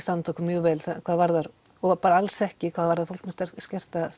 standa okkur mjög vel hvað varðar og bara alls ekki hvað varðar fólk með skerta